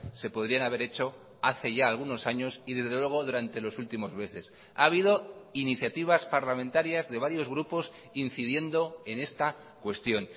se podrían haber hecho hace ya algunos años y desde luego durante los últimos meses ha habido iniciativas parlamentarias de varios grupos incidiendo en esta cuestión